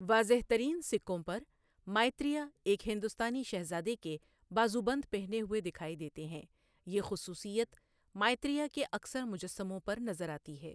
واضح ترین سکوں پر مائتریہ ایک ہندوستانی شہزادے کے بازوبند پہنے ہوۓ دکھائی دیتے ہیں، یہ خصوصیت مائتریہ کے اکثر مجسموں پر نظر آتی ہے۔